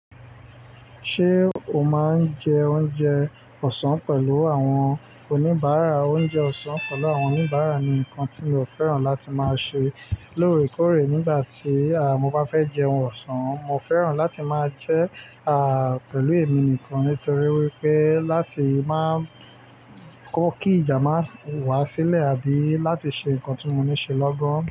Ṣé o máa ń jẹ oúnjẹ ọ̀sán pẹ̀lú àwọn oníbàárà? Oúnjẹ ọ̀sán pẹ̀lú àwọn oníbàárà ni nǹkan tí mi ò fẹ́ràn láti máa ṣe lóòrèkóòrè nígbà tí mo bá fẹ́ jẹún ọ̀sán. Mo fẹ́ràn láti máa jẹ́ pẹ̀lú èmi nìkan nítorí wípé láti máa kó kí ìjà máa wá sílẹ̀ àbí láti ṣe nǹkan tí mo ní ṣe lọ́gán.